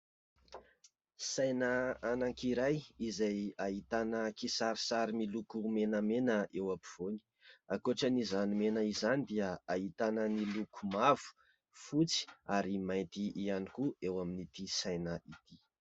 Saina anankiray izay ahitàna kisarisary miloko menamena eo ampovoany. Ankoatran'izany mena izany dia ahitana ny loko mavo, fotsy ary mainty ihany koa eo amin'ity saina ity.